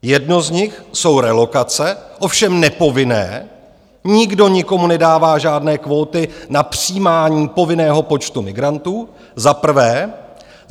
Jeden z nich jsou relokace, ovšem nepovinné, nikdo nikomu nedává žádné kvóty na přijímání povinného počtu migrantů - za prvé.